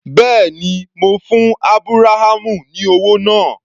Bẹ́ẹ̀ni, mo fún Ábúráhámù ní owó náà.